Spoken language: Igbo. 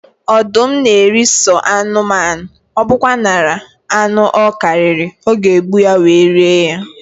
Ọdụm na eri sọ anụmanụ, ọbụkwanara anụ ọ karịrị, ọ ga egbu ya, wee rie ya